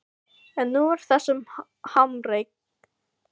En nú er þessum harmleik endanlega lokið.